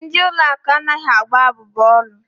Ndị ụlọ akụ anaghị agba abubu ọrụ.